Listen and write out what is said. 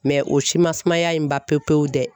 o si man sumaya in ban pewu pewu dɛ.